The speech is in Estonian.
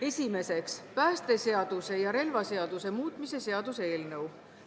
Esimeseks, päästeseaduse ja relvaseaduse muutmise seaduse eelnõu.